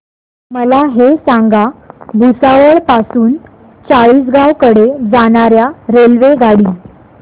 मला हे सांगा भुसावळ पासून चाळीसगाव कडे जाणार्या रेल्वेगाडी